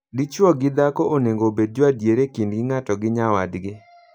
Dichwo gi dhako onego obed joadier e kindgi ng'ato gi nyawadgi.